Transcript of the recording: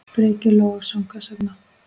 Breki Logason: Hvers vegna?